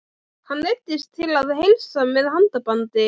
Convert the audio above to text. Hann neyddist til að heilsa með handabandi.